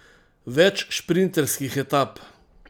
Več šprinterskih etap?